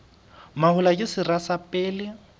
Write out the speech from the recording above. mahola ke sera sa pele